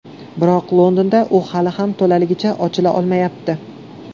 Biroq Londonda u hali ham to‘laligicha ochila olmayapti.